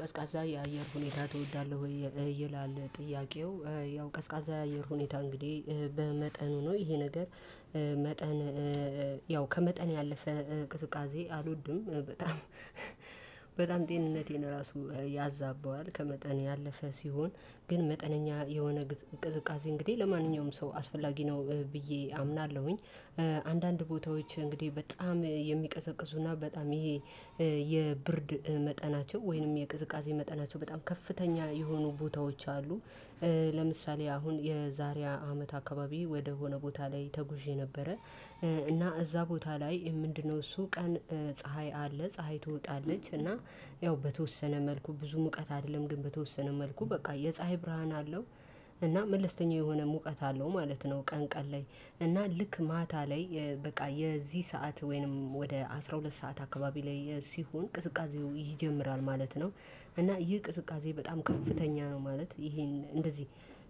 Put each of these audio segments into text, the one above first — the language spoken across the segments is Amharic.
ቀዝቃዛ የአየር ሁኔታ ትወዳለህ ወይ? ይላል ጥያቄው ያው ቀዝቃዛ የአየር ሁኔታ እንግዲህ በመጠኑ ነው ይሄ ነገር መጠን ያው ከመጠን ያለፈ ቅዝቃዜ አልወድም በጣም። በጣም ጤንነቴን ራሱ ያዛበዋል ከመጠን ያለፈ ሲሆን ግን መጠነኛ የሆነ ቅዝቃዜ እንግዲህ ለማንኛውም ሰው አስፈላጊ ነው ብዬ አምናለሁኝ። አንዳንድ ቦታዎች እንግዲህ በጣም የሚቀዘቅዙና በጣም ይሄ የብርድ መጠናቸው ወይንም የቅዝቃዜ መጠናቸው በጣም ከፍተኛ የሆኑ ቦታዎች አሉ። ለምሳሌ አሁን የዛሬ አመት አካባቢ ወደሆነ ቦታ ላይ ተጉዤ ነበረ። እና እዛ ቦታ ላይ ምንድነው እሱ ቀን ፀሀይ አለ ፀሀይ ትወጣለች እና። ያው በተወሰነ መልኩ ብዙ ሙቀት አይደለም ግን በተወሰነ መልኩ በቃ የፀሀይ ብርሃን አለው። እና መለስተኛ የሆነ ሙቀት አለው ማለት ነው። ቀን ቀን ላይ እና ልክ ማታ ላይ በቃ የዚህ ሰዓት ወይንም ወደ አስራ ሁለት ሰዓት አካባቢ ላይ ሲሆን ቅዝቃዜው ይጀምራል ማለት ነው። እና ይህ ቅዝቃዜ በጣም ከፍተኛ ነው ማለት ይሄን እንደዚህ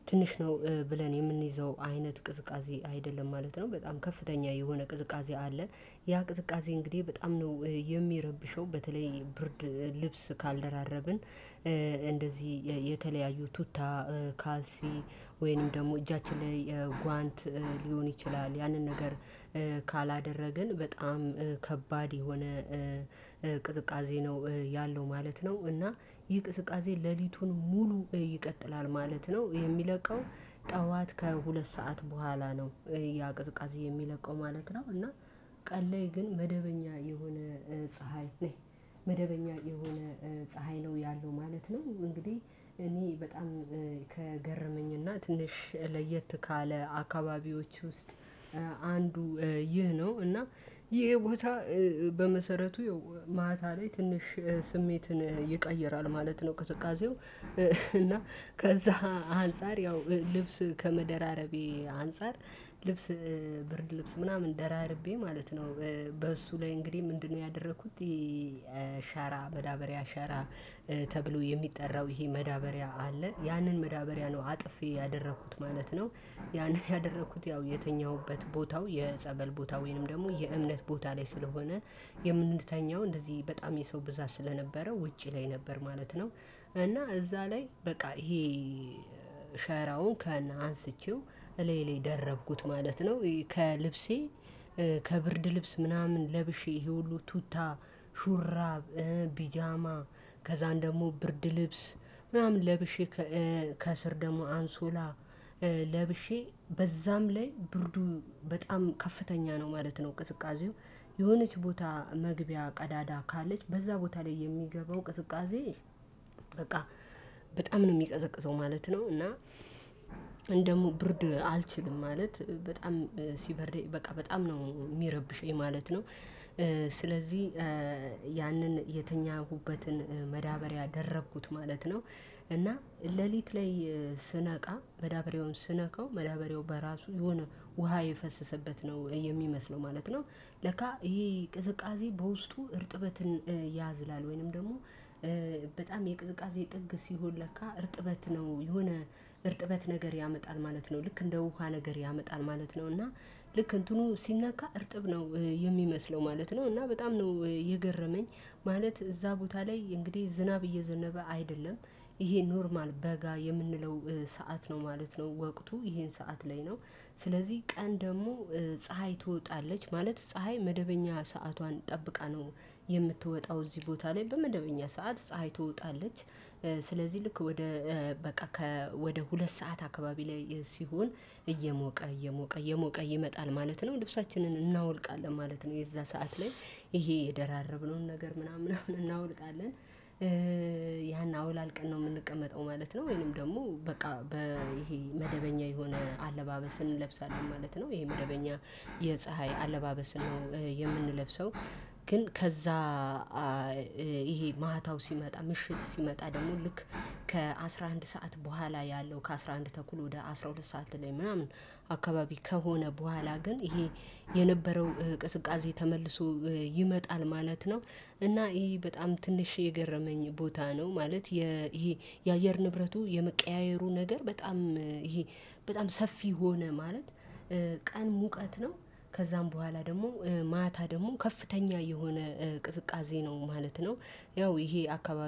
ትንሽ ነው ብለን የምንይዘው አይነት ቅዝቃዜ አይደለም ማለት ነው። በጣም ከፍተኛ የሆነ ቅዝቃዜ አለ። ያ ቅዝቃዜ እንግዲህ በጣም ነው የሚረብሸው በተለይ ብርድ ልብስ ካልደራረብን እንደዚህ የተለያዩ ቱታ ካልሲ ወይንም ደግሞ እጃችን ላይ ጓንት ሊሆን ይችላል ያንን ነገር። ካላደረግን በጣም ከባድ የሆነ ቅዝቃዜ ነው ያለው ማለት ነው። እና ይህ ቅዝቃዜ ሌሊቱን ሙሉ ይቀጥላል ማለት ነው የሚለቀው ጠዋት ከሁለት ሰዓት በኋላ ነው። ያ ቅዝቃዜ የሚለቀው ማለት ነው። እና ቀን ላይ ግን መደበኛ የሆነ ፀሀይ ነው መደበኛ የሆነ ፀሀይ ነው ያለው ማለት ነው። እንግዲህ እኔ በጣም ከገረመኝ እና ትንሽ ለየት ካለ አካባቢዎች ውስጥ አንዱ ይህ ነው እና። ይሄ ቦታ በመሰረቱ ያው ማታ ላይ ትንሽ ስሜትን ይቀይራል ማለት ነው ቅዝቃዜው። እና ከዛ አንፃር ያው ልብስ ከመደራረቤ አንፃር ልብስ ብርድ ልብስ ምናምን ደራርቤ ማለት ነው። በእሱ ላይ እንግዲህ ምንድነው ያደረኩት ይሄ? ሸራ መዳበሪያ ሸራ ተብሎ የሚጠራው ይሄ መዳበሪያ አለ ያንን መዳበሪያ ነው አጥፌ ያደረኩት ማለት ነው። ያንን ያደረኩት ያው የተኛሁበት ቦታው የጸበል ቦታ ወይንም ደግሞ የእምነት ቦታ ላይ ስለሆነ የምንተኛው እንደዚህ በጣም የሰው ብዛት ስለነበረው ውጪ ላይ ነበር ማለት ነው። እና እዛ ላይ በቃ ይሄ ሸራውን ከነ አንስቼው እላዬ ላይ ደረብኩት ማለት ነው። ይህ ከልብሴ ከብርድ ልብስ ምናምን ለብሼ ይሄ ሁሉ ቱታ ሹራብ ፒጃማ ከዛን ደግሞ ብርድ ልብስ ምናምን ለብሼ ከስር ደግሞ አንሶላ ለብሼ በዛም ላይ ብርዱ በጣም ከፍተኛ ነው ማለት ነው። ቅዝቃዜው የሆነች ቦታ መግቢያ ቀዳዳ ካለች በዛ ቦታ ላይ የሚገባው ቅዝቃዜ በቃ በጣም ነው የሚቀዘቅዘው ማለት ነው። እና እኔ ደግሞ ብርድ አልችልም ማለት በጣም ሲበርደኝ በቃ በጣም ነው የሚረብሸኝ ማለት ነው። ስለዚህ ያንን የተኛሁበትን መዳበሪያ ደረብኩት ማለት ነው። እና ሌሊት ላይ ስነቃ መዳበሪያውን ስነካው መዳበሪያው በራሱ የሆነ ውሃ የፈሰሰበት ነው የሚመስለው ማለት ነው። ለካ ይሄ ቅዝቃዜ በውስጡ እርጥበትን ያዝላል ወይንም ደግሞ በጣም የቅዝቃዜ ጥግ ሲሆን ለካ እርጥበት ነው የሆነ እርጥበት ነገር ያመጣል ማለት ነው። ልክ እንደ ውሃ ነገር ያመጣል ማለት ነው። እና ልክ እንትኑ ሲነካ እርጥብ ነው የሚመስለው ማለት ነው። እና በጣም ነው የገረመኝ ማለት እዛ ቦታ ላይ እንግዲህ ዝናብ እየዘነበ አይደለም። ይሄ ኖርማል በጋ የምንለው ሰዓት ነው ማለት ነው። ወቅቱ ይሄን ሰዓት ላይ ነው። ስለዚህ ቀን ደግሞ ፀሀይ ትወጣለች ማለት ፀሀይ መደበኛ ሰዓቷን ጠብቃ ነው የምትወጣው እዚህ ቦታ ላይ በመደበኛ ሰዓት ፀሀይ ትወጣለች። ስለዚህ ልክ ወደ በቃ ከ ወደ ሁለት ሰዓት አካባቢ ላይ ሲሆን እየሞቀ እየሞቀ እየሞቀ ይመጣል ማለት ነው። ልብሳችንን እናወልቃለን ማለት ነው የዛ ሰዓት ላይ ይሄ የደራረብነውን ነገር ምናምን እናወልቃለን ያን አወላልቀን ነው የምንቀመጠው ማለት ነው። ወይንም ደግሞ በቃ ይሄ መደበኛ የሆነ አለባበስን እንለብሳለን ማለት ነው። ይሄ መደበኛ የፀሀይ አለባበስ ነው የምንለብሰው። ግን ከዛ ይሄ ማታው ሲመጣ ምሽት ሲመጣ ደግሞ ልክ ከአሥራ አንድ ሰዓት በኋላ ያለው ከአሥራ አንድ ተኩል ወደ አስራ ሁለት ሰዓት ላይ ምናምን አካባቢ ከሆነ በኋላ ግን ይሄ የነበረው ቅዝቃዜ ተመልሶ ይመጣል ማለት ነው። እና ይሄ በጣም ትንሽ የገረመኝ ቦታ ነው ማለት። ይሄ የአየር ንብረቱ የመቀያየሩ ነገር በጣም ይሄ በጣም ሰፊ ሆነ ማለት። ቀን ሙቀት ነው ከዛም በኋላ ደግሞ ማታ ደግሞ ከፍተኛ የሆነ ቅዝቃዜ ነው ማለት ነው። ያው ይሄ አካባቢ